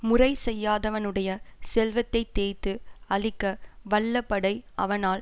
முறை செய்யாதவனுடைய செல்வத்தை தேய்த்து அழிக்க வல்ல படை அவனால்